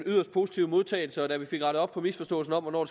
positive modtagelse da vi fik rettet op på misforståelsen om hvornår